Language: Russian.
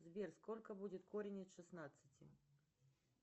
сбер сколько будет корень от шестнадцати